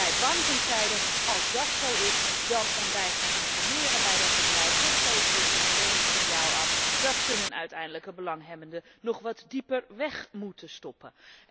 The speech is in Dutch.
De banken zeiden, als dat zo is en wij gaan informeren bij dat bedrijf, dan geven we meteen een signaal dat ze hun uiteindelijke belanghebbende nog wat dieper weg moeten stoppen.